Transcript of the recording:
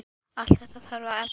Allt þetta þarf að efla.